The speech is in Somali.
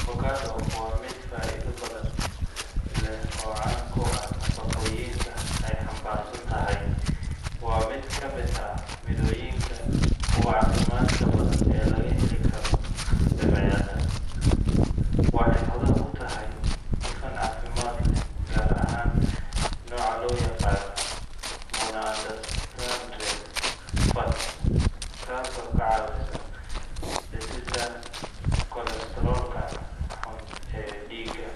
Avocado waa midho faa'iido badan leh oo caan ku ah nafaqooyinka ay xambaarsan tahay. Waa mid ka mid ah mirooyinka ugu caafimaadka badan ee laga heli karo dabeecadda. Waxay hodan ku tahay dufan caafimaad leh, gaar ahaan nooca loo yaqaan monounsaturated fat, taasoo ka caawisa dhimista kolestaroolka xun ee dhiigga.